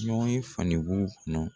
Ɲɔgɔnye kɔnɔ.